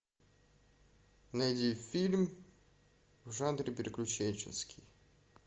найди фильм в жанре приключенческий